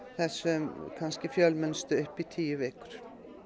þessum kannski fjölmennustu upp í tíu vikur